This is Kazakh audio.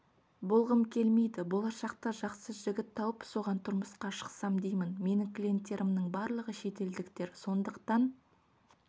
болғым келмейді болашақта жақсы жігіт тауып соған тұрмысқа шықсам деймін менің клиенттерімнің барлығы шетелдіктер сондықтан